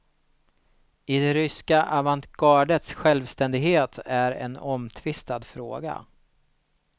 Det ryska avantgardets självständighet är en omtvistad fråga.